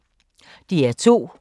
DR2